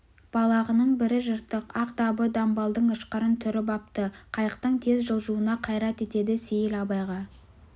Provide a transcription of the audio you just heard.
балағының бірі жыртық ақ дабы дамбалдың ышқырын түріп апты қайықтың тез жылжуына қайрат етеді сейіл абайға